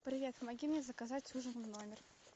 привет помоги мне заказать ужин в номер